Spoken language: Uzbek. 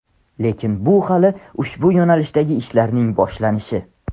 Lekin bu hali ushbu yo‘nalishdagi ishlarning boshlanishi.